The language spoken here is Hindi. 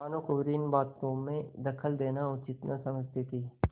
भानुकुँवरि इन बातों में दखल देना उचित न समझती थी